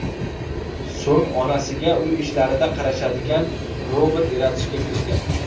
So‘ng onasiga uy ishlarida qarashadigan robot yaratishga kirishgan.